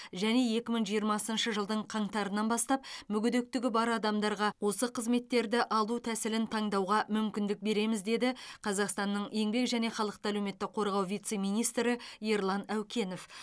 және екі мың жиырмасыншы жылдың қаңтарынан бастап мүгедектігі бар адамарға осы қызметтерді алу тәсілін таңдауға мүмкіндік береміз деді қазақстанның еңбек және халықты әлеуметтік қорғау вице министрі ерлан әукенов